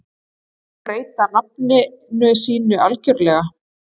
Má breyta nafninu sínu algjörlega?